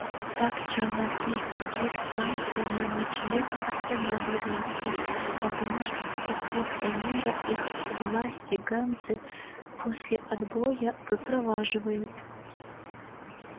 так челноки с других станций на ночлег останавливаются потому что с проспекта мира их власти ганзы после отбоя выпроваживают